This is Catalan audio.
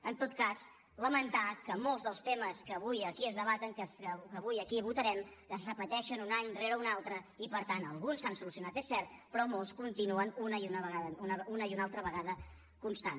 en tot cas lamentar que molts dels temes que avui aquí es debaten que avui aquí votarem es repeteixen un any rere un altre i per tant alguns s’han solucio nat és cert però molts continuen una i una altra vegada constant